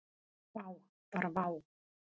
Vá, bara vá.